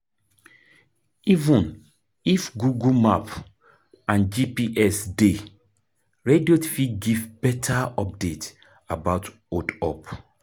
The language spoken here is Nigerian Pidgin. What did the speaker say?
Even if Google map and GPS dey, radio fit give better update about hold up